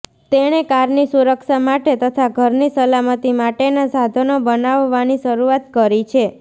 તેણે કારની સુરક્ષા માટે તથા ઘરની સલામતી માટેનાં સાધનો બનાવવાની શરૂઆત કરી છે